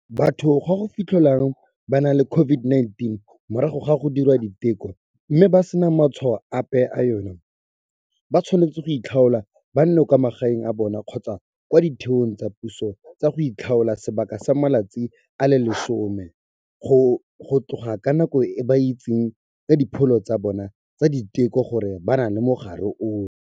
Batho ba go fitlhelwang ba na le COVID-19 morago ga go diriwa diteko, mme ba sena matshwao ape a yona, ba tshwanetse goitlhaola ba nne kwa magaeng a bona kgotsa kwa ditheong tsa puso tsa go itlhaola sebaka sa matsatsi a le 10, go tloga ka nako e ba itsitseng ka dipholo tsa bona tsa diteko gore ba na le mogare ono.